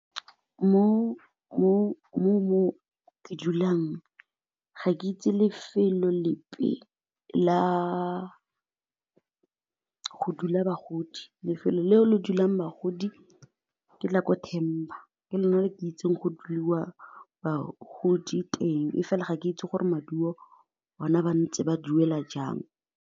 Mo ke dulang, ga ke itse lefelo lepe la dula bagodi, lefelo leo le dulang bagodi ke la ko Temba, ke lona le ke itseng go dulwa bagodi teng fela ga ke itse gore maduo one ba ntse ba duela jang.